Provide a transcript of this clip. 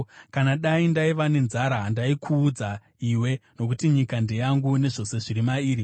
Kana dai ndaiva nenzara, handaikuudza iwe, nokuti nyika ndeyangu, nezvose zviri mairi.